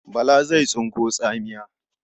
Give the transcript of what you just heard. Bala zai tsinko tsamiya.